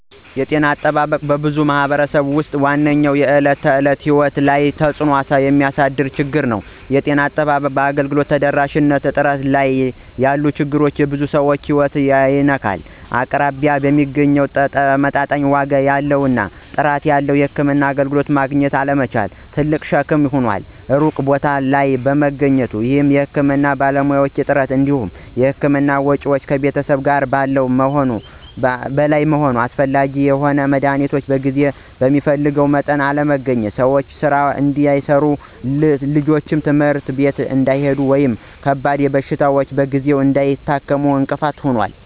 ጤና አጠባበቅ በብዙ ማኅበረሰቦች ውስጥ ዋነኛው የዕለት ተዕለት ሕይወት ላይ ተጽእኖ የሚያሳድር ችግር ነው። የጤና አጠባበቅ አገልግሎት ተደራሽነት እና ጥራት ላይ ያሉ ችግሮች የብዙ ሰዎችን ሕይወት ይነካሉ። አቅራቢያ የሚገኝ፣ ተመጣጣኝ ዋጋ ያለው እና ጥራት ያለው የሕክምና አገልግሎት ማግኘት አለመቻል ትልቅ ሸክም ይሆናል። ሩቅ ቦታ ላይ መገኘት ወይም የሕክምና ባለሙያዎች እጥረት እንዲሁም የሕክምና ወጪዎች ከቤተሰብ ገቢ በላይ መሆን እና አስፈላጊ የሆኑ መድኃኒቶች በጊዜ እና በሚፈለገው መጠን አለመገኘት ሰዎች ሥራ እንዳይሠሩ፣ ልጆች ትምህርት ቤት እንዳይሄዱ ወይም ከባድ በሽታዎችን በጊዜ እንዳይታከሙ እንቅፋት ይፈጥራሉ።